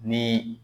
Ni